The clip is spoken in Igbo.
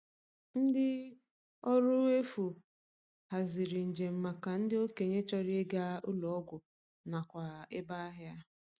Ndi ọrụ efu haziri njem maka ndị okenye chọrọ ịga ụlọ ọgwụ nakwa ebe ahịa.